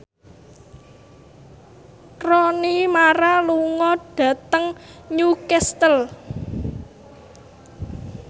Rooney Mara lunga dhateng Newcastle